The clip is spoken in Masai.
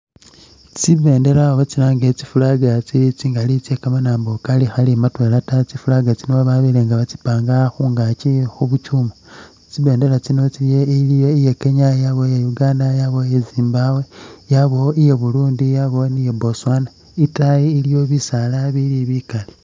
Tsi bendela oba tsilange tsi flag tse kamanambo kakhali matwela taa, tsi flag tsino babeye nga batsipanga khungakyi khubukyuma tsibendela tsino iliyo iya kenya yabawo iya Uganda yabawo iya Zimbabwe yabawo iya burundi yabawo ni iya Botswana , itayi iliyo bisala ibili bikali .